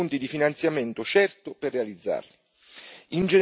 a definire fonti di finanziamento certo per realizzarli.